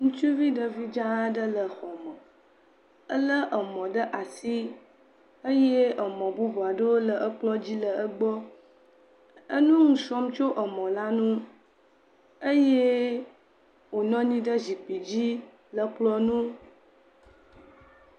Ŋutsuvi ɖevi dza aɖe le xɔme, elé emɔ ɖe asi eye emɔ bubu aɖewo le ekplɔ dzi le egbɔ, enusrɔ̃m tso emɔ la ŋu. Eye wonɔ anyi ɖe zikpui dzi le kplɔ ŋu